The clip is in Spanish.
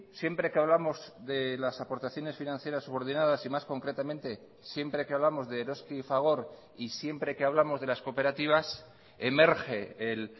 siempre que hablamos de las aportaciones financieras subordinadas y más concretamente siempre que hablamos de eroski y fagor y siempre que hablamos de las cooperativas emerge el